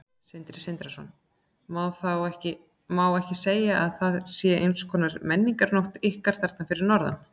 Sindri Sindrason: Má ekki segja að þetta sé eins konar menningarnótt ykkar þarna fyrir norðan?